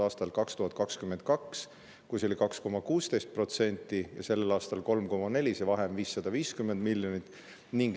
Aastal 2022 oli 2,16% ja sel aastal on see 3,4%, vahe on 550 miljonit.